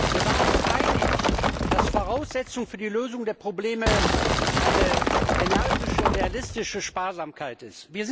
Wir waren uns einig, dass Voraussetzung für die Lösung der Probleme eine energische, realistische Sparsamkeit ist.